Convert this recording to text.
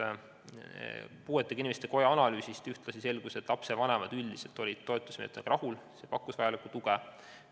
Eesti Puuetega Inimeste Koja analüüsist selgus, et üldiselt olid lapsevanemad toetusmeetmetega rahul, need pakkusid vajalikku tuge.